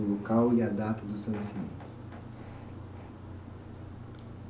o local e a data do seu nascimento.